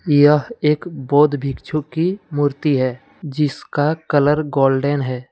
यह एक बौद्ध भिक्षु की मूर्ति है जिसका कलर गोल्डन है।